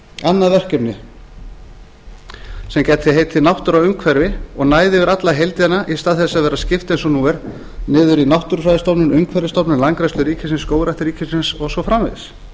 annað verkefni sem gæti heitið náttúra og umhverfi og næði yfir alla heildina í stað þess að vera skipt eins og nú er niður í náttúrufræðistofnun umhverfisstofnun landgræðslu ríkisins skógrækt ríkisins og svo framvegis þá